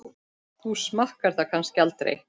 Þú smakkar það kannski aldrei?